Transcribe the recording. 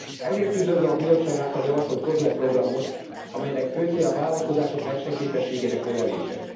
Ezért üdvözlöm a Bizottság által javasolt COSME programot, amelynek fő célja a vállalkozások versenyképességének növelése.